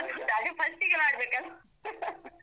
ಅದು first ಗೆ ಮಾಡ್ಬೇಕಲ .